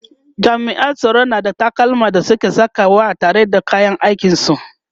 jami'an tsaro na da takalman da suke Saka wa tare da kayan aikin su